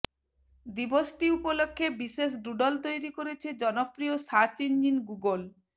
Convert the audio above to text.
দিবসটি উপলক্ষে বিশেষ ডুডল তৈরি করেছে জনপ্রিয় সার্চ ইঞ্জিন গুগল